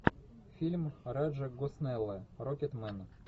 фильм раджа госнелла рокетмен